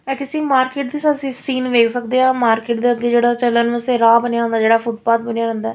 ਇਹ ਕਿਸੀ ਮਾਰਕੀਟ ਦੀ ਸੀਨ ਵੇਖ ਸਕਦੇ ਆ ਮਾਰਕੀਟ ਦੇ ਅੱਗੇ ਜਿਹੜਾ ਚਲਣ ਵਾਸਤੇ ਰਾਹ ਬਣਿਆ ਹੁੰਦਾ ਜਿਹੜਾ ਫੁੱਟਪਾਥ ਬਣਿਆ ਰਹਿੰਦੈ--